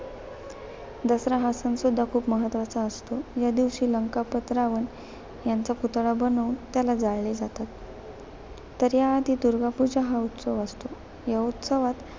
दसरा हा सण सुद्धा खूप महत्त्वाचा असतो. या दिवशी लंकापत रावण, यांचा पुतळा बनवून त्याला जाळले जातात. तर, याआधी दुर्गा पूजा हा उत्सव असतो. या उत्सवात,